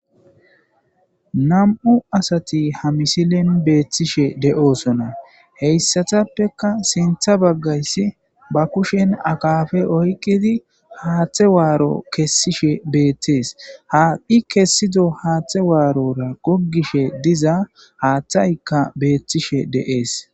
nam7u asati ha misilen beethtishe de7osona heyssatappeka sintha baggayssi ba kushen akafe oyqidi haaththe waaro kessishe beettees haaqqi kessido haaththe waarora goggishe diza haaththaykka beethtishe de'ees